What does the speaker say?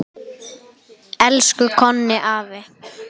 Elsku Konni afi.